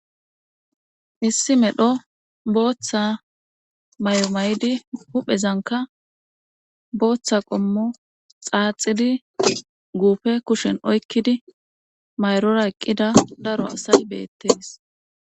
issi medho booththa mayo mayidi huphezanka booththa qommo xaaxidi guufe kushen oykkidi mayrora eqqida daro asay beettes.